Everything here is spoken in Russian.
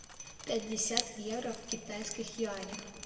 пятьдесят евро в китайских юанях